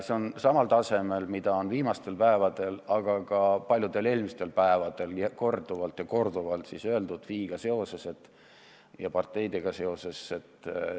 See on samal tasemel väide, kui on viimastel päevadel, aga ka palju varem ja korduvalt väidetud FI-ga ja parteidega seoses.